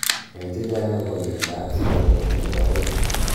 nai chechang akopa miando ap sugaru nepo aeng